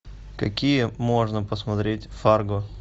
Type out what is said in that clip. какие можно посмотреть фарго